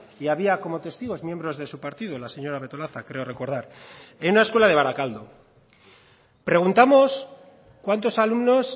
y había como testigos miembros de su partido la señora betolaza creo recordar en una escuela de baracaldo preguntamos cuántos alumnos